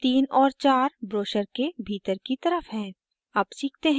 भाग 23 और 4 ब्रोशर के भीतर की तरफ हैं